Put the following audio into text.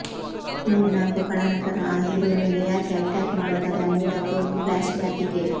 ಮೂರ್ನಾಲ್ಕು ಖಳನಟರು ಆ ಹೀರೋ ಮೇಲೆ ಯಾಕೆ ಅಟ್ಯಾಕ್ ಮಾಡ್ತಾರೆ ಅನ್ನುವುದಕ್ಕೂ ಒಂದು ಫ್ಲ್ಯಾಶ್ಬ್ಯಾಕ್ ಇದೆ